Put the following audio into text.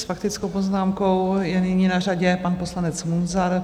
S faktickou poznámkou je nyní na řadě pan poslanec Munzar.